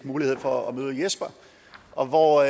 mulighed for at møde jesper og hvor